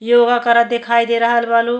योगा करत दिखाई दे रहल बा नु।